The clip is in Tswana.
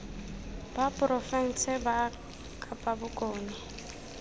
ba porofense ba kapa bokone